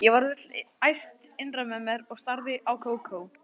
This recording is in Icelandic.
Ég varð öll æst innra með mér og starði á Kókó.